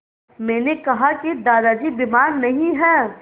मैंने कहा कि दादाजी बीमार नहीं हैं